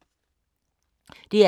DR K